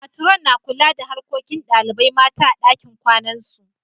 Matron' na kula da harkokin dalibain mata a'ɗakin kwanan su.